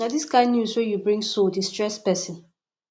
na dis kain news wey you bring so dey stress pesin